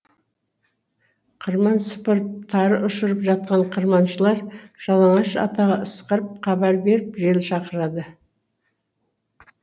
қырман сыпырып тары ұшырып жатқан қырманшылар жалаңаш атаға ысқырып хабар беріп жел шақырады